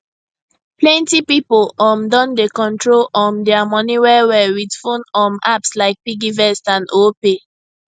plenty pipo um don dey control um dia money wellwell with phone um apps like piggyvest and opay